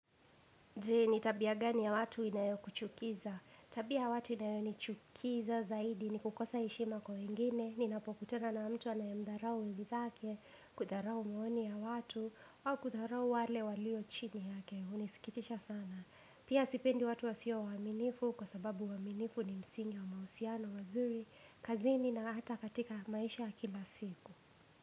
Ni tabia gani ya watu inayo kuchukiza? Tabia watu inayo nichukiza zaidi ni kukosa heshima kwa wengine Ninapokutana na mtu anayemdharau wenzake kudharau maoni ya watu au kudharau wale walio chini yake Hunisikitisha sana Pia sipendi watu wasio waaminifu Kwa sababu uaminifu ni msingi wa mahusiano mazuri kazini na hata katika maisha ya kila siku.